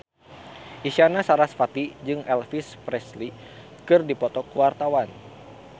Isyana Sarasvati jeung Elvis Presley keur dipoto ku wartawan